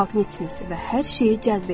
siz maqnitsiniz və hər şeyi cəzb edirsiz.